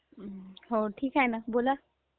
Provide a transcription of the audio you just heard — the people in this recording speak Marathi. हो ठीक आहे नी बोला